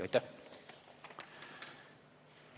Aitäh!